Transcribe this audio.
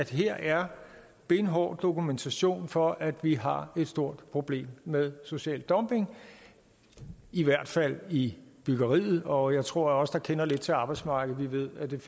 her er benhård dokumentation for at vi har et stort problem med social dumping i hvert fald i byggeriet og jeg tror at os der kender lidt til arbejdsmarkedet ved at det